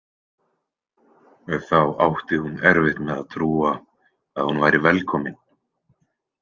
Þá átti hún erfitt með að trúa að hún væri velkomin.